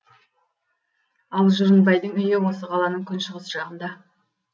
ал жұрынбайдың үйі осы қаланың күншығыс жағында